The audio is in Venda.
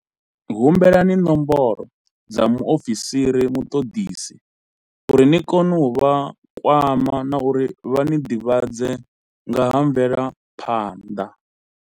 Humbelani nomboro dza muofisiri muṱoḓisisi, u ri ni kone u vha kwama na uri vha ni ḓivhadze nga ha mvelaphanḓa.